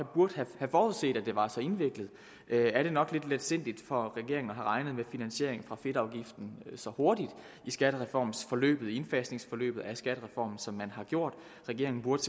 burde have forudset at det var så indviklet er det nok lidt letsindigt af regeringen regnet med finansiering fra fedtafgiften så hurtigt i skattereformsforløbet i indfasningsforløbet af skattereformen som man har gjort regeringen burde